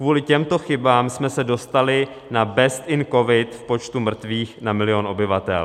Kvůli těmto chybám jsme se dostali na best in covid v počtu mrtvých na milion obyvatel.